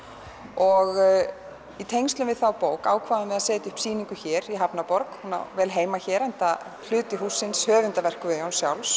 og í tengslum við þá bók ákváðum við að setja upp sýningu hér í hafnarborg hún á vel heima hér enda hluti hússins höfundarverk Guðjóns sjálfs